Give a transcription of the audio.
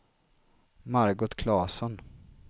Margot Klasson